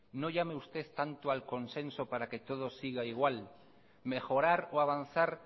no llame usted tanto al consenso para que todo siga igual mejorar o avanzar